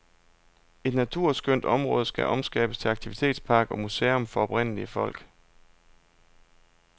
Et naturskønt område skal omskabes til aktivitetspark og museum for oprindelige folk.